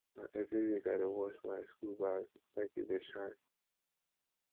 na every week i dey wash my school bag make e dey shine